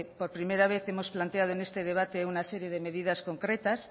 por primera vez hemos planteado en este debate una serie de medidas concretas